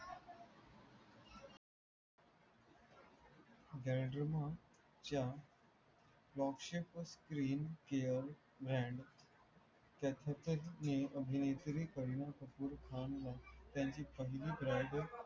dundrum च्या boxesp च skin care brand त्याचत त्याने अभिनेत्री करीना कूपर खानला त्यांची पहिली bridal